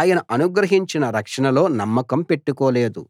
ఆయన అనుగ్రహించిన రక్షణలో నమ్మకం పెట్టుకోలేదు